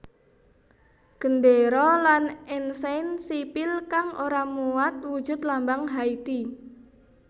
Gendéra lan ensain sipil kang ora muat wujud lambang Haiti